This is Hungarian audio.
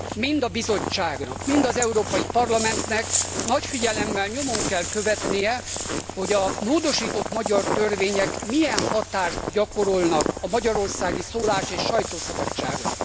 Mind a Bizottságnak, mind az Európai Parlamentnek nagy figyelemmel nyomon kell követnie, hogy a módosított magyar törvények milyen hatást gyakorolnak a magyarországi szólás és sajtószabadságra.